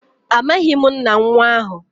amaghim nna nwa ahu.